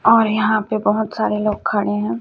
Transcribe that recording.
और यहां पे बहोत सारे लोग खड़े हैं।